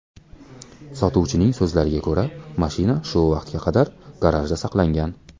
Sotuvchining so‘zlariga ko‘ra, mashina shu vaqtga qadar garajda saqlangan.